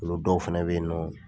olu dɔw fana bɛ yen nɔ.